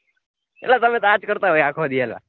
અલા તમે આજ કરતા હોય અખો દી અલા.